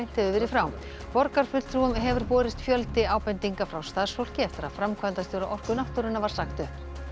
hefur verið frá borgarfulltrúum hefur borist fjöldi ábendinga frá starfsfólki eftir að framkvæmdastjóra Orku náttúrunnar var sagt upp